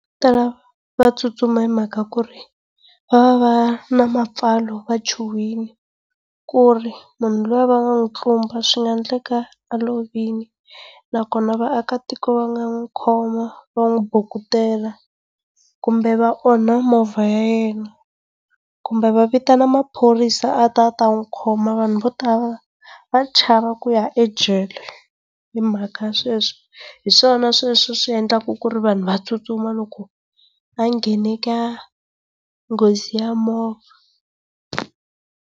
tala va tsutsuma hi mhaka ku ri va va na mapfalo va chuhile ku ri munhu luya va nga n'wi tlumba swi nga endleka a lovile naswona vaakatiko va nga n'wi khoma va n'wi bukutela kumbe va onha movha ya yena, kumbe va vitana maphorisa a ta a ta n'wi khoma vanhu vo tala va chava ku ya ejele. Hi mhaka sweswi, hi swona swi endlaka ku ri vanhu va tsutsuma loko a nghene ka nghozi ya movha.